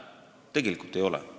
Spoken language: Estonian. Tegelikult ei ole mäda.